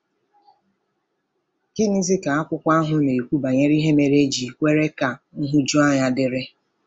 Gịnịzi ka akwụkwọ ahụ na-ekwu banyere ihe mere e ji kwere ka nhụjuanya dịrị?